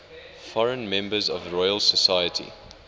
foreign members of the royal society